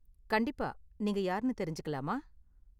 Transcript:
கண்டிப்பா, நீங்க யார்னு தெரிஞ்சுக்கலாமா?